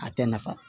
A tɛ nafa